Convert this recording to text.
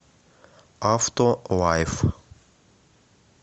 автолайф